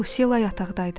Lucila yataqda idi.